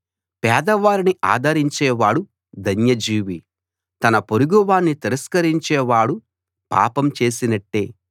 పేదవారిని ఆదరించేవాడు ధన్యజీవి తన పొరుగువాణ్ణి తిరస్కరించేవాడు పాపం చేసినట్టే